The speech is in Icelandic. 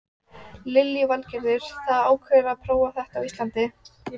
Lillý Valgerður: Þið ákváðuð að prófa þetta á Íslandi?